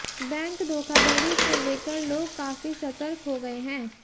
bank धोखाधड़ी को लेकर लोग काफी सर्तक हो गए हैं